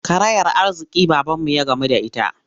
Karayar arziƙi babanmu ya gamu da ita.